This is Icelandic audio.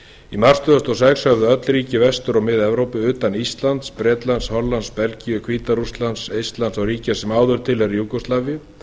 í mars tvö þúsund og sex höfðu öll ríki vestur og mið evrópu utan íslands bretlands hollands belgíu hvíta rússlands eistlands og ríkja sem áður tilheyrðu júgóslavíu